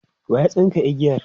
waya tsinka igiyar?